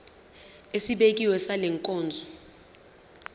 esibekiwe sale nkonzo